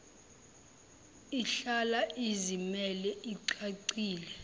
ihlala izimele icacile